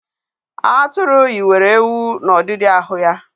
Atụru yiwere ewu n'ọdidi ahụ ya